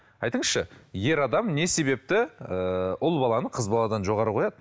айтыңызшы ер адам не себепті ыыы ұл баланы қыз баладан жоғары қояды